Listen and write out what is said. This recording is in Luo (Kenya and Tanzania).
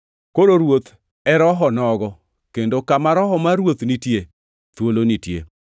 Koro Ruoth e Rohonogo; kendo kama Roho mar Ruoth nitie, thuolo nitie.